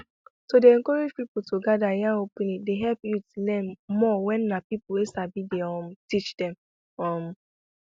to dey encourage people to gather yarn openly dey help youth learn more wen na people wey sabi dey um teach them um